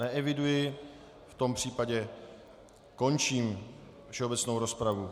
Neeviduji, v tom případě končím všeobecnou rozpravu.